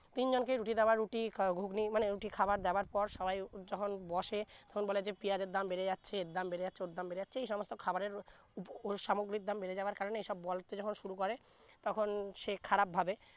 তিন জন কে রুটি দেওয়া রুটি ঘুগনি মানে খাবার দাবার পর সবাই যখন বসে তখন বলে যে পেঁয়াজের দাম বেরে যাচ্ছে এর দাম ওর দাম বেরে যাচ্ছে এই সমস্থ খাবারের সামগ্রীর দাম বেরে যাবার কারনে এই সব বলতে যখন শুরু করে তখন সে খারাপ ভাবে